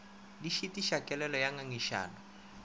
di šitiša kelelo ya ngangišano